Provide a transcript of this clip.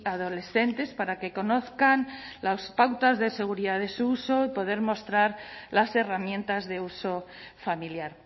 adolescentes para que conozcan las pautas de seguridad de su uso y poder mostrar las herramientas de uso familiar